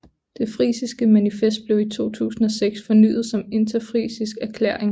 Det frisiske manifest blev i 2006 fornyet som interfrisisk erklæring